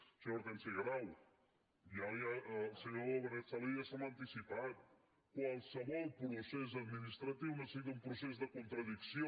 senyora hortènsia grau ja el senyor benet salellas se m’ha anticipat qualsevol procés administratiu necessita un procés de contradicció